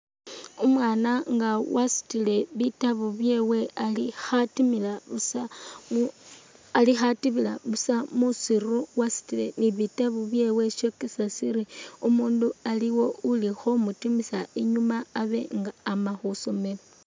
Umwana nga wasutile bitabu byewe ali khatimila busa mu ali khatimila busa musiru wasutile ni bitabu byewe shokesa siri umundu aliwo uli khomutimisa inyuma Abe nga ama khwisoomelo